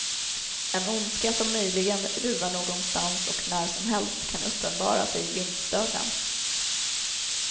En ondska som möjligen ruvar någonstans och när som helst kan uppenbara sig i vindsdörren.